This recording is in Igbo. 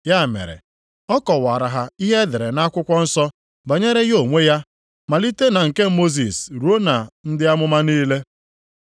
Ya mere, ọ kọwaara ha ihe e dere nʼakwụkwọ nsọ banyere ya onwe ya malite na nke Mosis ruo na ndị amụma niile.